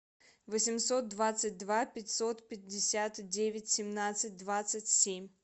восемьсот двадцать два пятьсот пятьдесят девять семнадцать двадцать семь